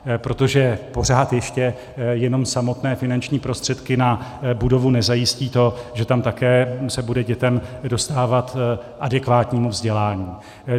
Protože pořád ještě jenom samotné finanční prostředky na budovu nezajistí to, že tam také se bude dětem dostávat adekvátního vzdělání.